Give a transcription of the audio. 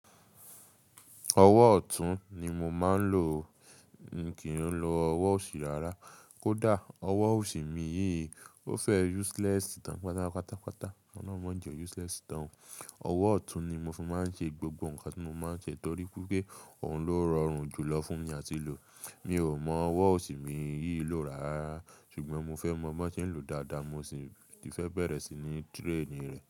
Ọwọ́ ọ̀tún ni mo máa ń lò o, mi kì í lò ọwọ́ òsì rárá. Kódà ọwọ́ òsì mi yìí, ó fẹ́ useless tàn pátápátápata Olohun ma jẹ o useless tàn o. Ọwọ́ ọ̀tún ni mo fún máa ń ṣe gbogbo nǹkan tí mo máa ń ṣe torí wi pé òun ló rọrùn jùlọ fún mi àti lò. Mi ò mọ ọwọ́ òsì mi yìí lò rárá, ṣùgbọ́n mo fẹ́ mọ bo se ń lò dáadáa, mo sì fẹ́ bẹ̀rẹ̀ sí ní traini rẹ̀